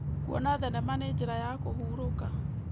Kuona thenema nĩ njĩra ya kũhurũka.